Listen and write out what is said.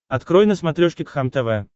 открой на смотрешке кхлм тв